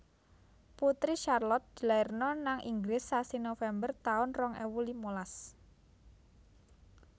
Putri Charlotte dilairno nang Inggris sasi November taun rong ewu limalas